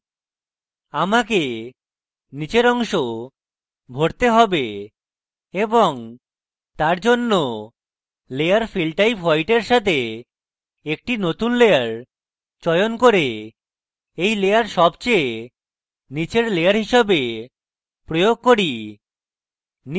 আমাকে নীচের অংশ ভরতে have এবং তারজন্য layer fill type white এর সাথে একটি নতুন layer চয়ন করে এই layer সবচেয়ে নীচের layer হিসাবে প্রয়োগ করি